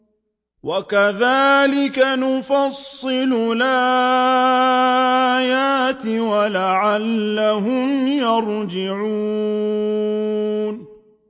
وَكَذَٰلِكَ نُفَصِّلُ الْآيَاتِ وَلَعَلَّهُمْ يَرْجِعُونَ